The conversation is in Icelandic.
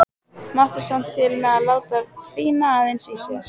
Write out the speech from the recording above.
Mátti samt til með að láta hvína aðeins í sér.